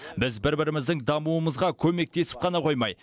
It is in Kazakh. біз бір біріміздің дамуымызға көмектесіп қана қоймай